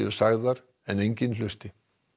sagðar en enginn hlusti